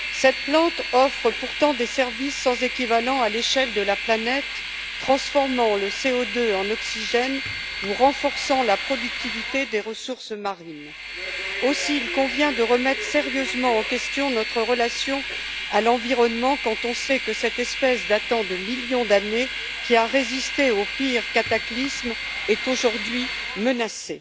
Cette plante offre pourtant des services sans équivalent à l'échelle de la planète, transformant le CO2 en oxygène ou renforçant la productivité des ressources marines. Aussi, il convient de remettre sérieusement en question notre relation à l'environnement, quand on sait que cette espèce datant de millions d'années, qui a résisté aux pires cataclysmes, est aujourd'hui menacée.